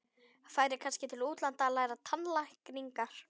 Færi kannski til útlanda að læra tannlækningar.